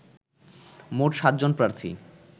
মোট ৭ জন প্রার্থী